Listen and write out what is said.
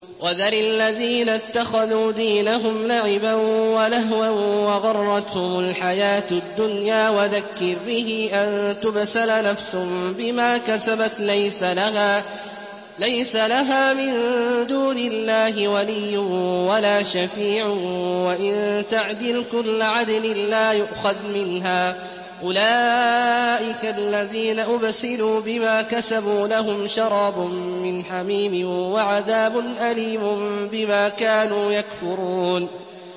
وَذَرِ الَّذِينَ اتَّخَذُوا دِينَهُمْ لَعِبًا وَلَهْوًا وَغَرَّتْهُمُ الْحَيَاةُ الدُّنْيَا ۚ وَذَكِّرْ بِهِ أَن تُبْسَلَ نَفْسٌ بِمَا كَسَبَتْ لَيْسَ لَهَا مِن دُونِ اللَّهِ وَلِيٌّ وَلَا شَفِيعٌ وَإِن تَعْدِلْ كُلَّ عَدْلٍ لَّا يُؤْخَذْ مِنْهَا ۗ أُولَٰئِكَ الَّذِينَ أُبْسِلُوا بِمَا كَسَبُوا ۖ لَهُمْ شَرَابٌ مِّنْ حَمِيمٍ وَعَذَابٌ أَلِيمٌ بِمَا كَانُوا يَكْفُرُونَ